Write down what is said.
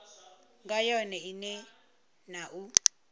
nga yone ine na u